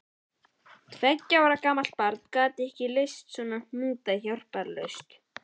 Tveggja ára gamalt barn gat ekki leyst svona hnúta hjálparlaust.